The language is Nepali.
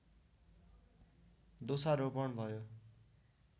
दोषारोपण भयो